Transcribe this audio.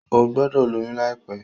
O gbọdọ lóyún laipẹ!